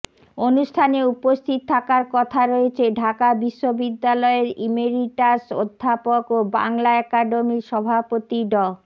অনুষ্ঠানে উপস্থিত থাকার কথা রয়েছে ঢাকা বিশ্ববিদ্যালয়ের ইমেরিটাস অধ্যাপক ও বাংলা একাডেমির সভাপতি ড